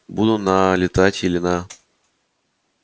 буду на летать или на